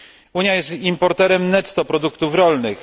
Unia jest importerem netto produktów rolnych.